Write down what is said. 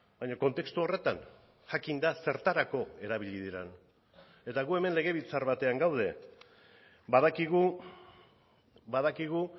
baina kontestu horretan jakinda zertarako erabili diren eta gu hemen legebiltzar batean gaude badakigu badakigu